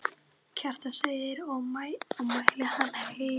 Kjartan segir og mæli hann heill.